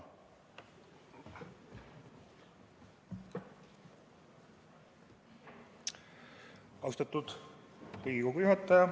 Austatud istungi juhataja!